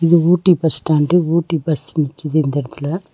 இது Ooty bus stand Ooty bus நிக்குது இந்த இடத்துல.